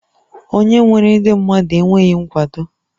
Onye nwere ndị mmadụ enweghị nkwado?